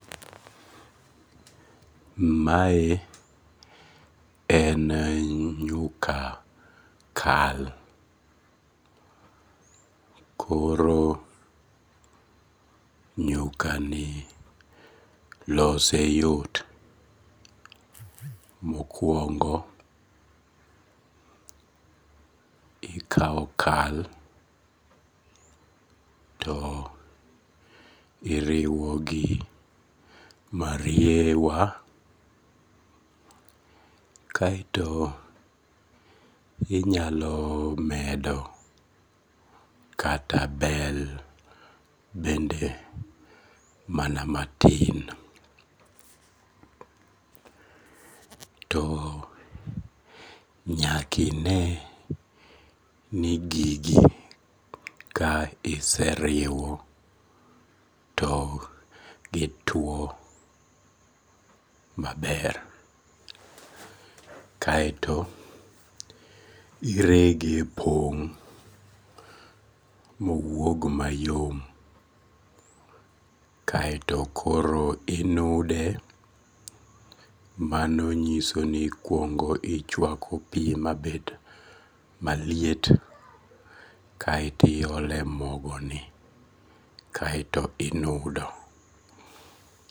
Mae en nyuka kal koro nyukani lose yot, mokuongo ikawo kal to iriwo gi mariewa, kaeto inyalo medo kata bel mana matin, to nyakine ni gigi ka iseriwo to gitwo maber, kaeto irege pong' ma owuog mayom kaeto koro inude, mano nyiso ni ikuongo ichwako pi mabed maliet kaeto iole mogoni kaeto inudo